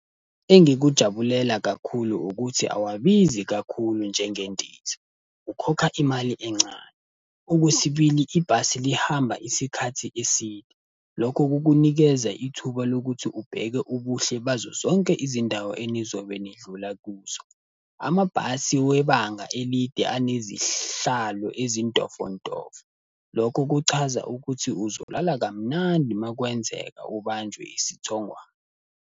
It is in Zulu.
Engikujabulela kakhulu ukuthi awabizi kakhulu njengendiza, ukhokha imali encane. Okwesibili ibhasi lihamba isikhathi eside. Lokho kukunikeza ithuba lokuthi ubheke ubuhle bazo zonke izindawo enizobe nidlula kuzo. Amabhasi webanga elide anezihlalo ezintofontofo. Lokho kuchaza ukuthi uzolala kamnandi makwenzeka ubanjwe isithongwana.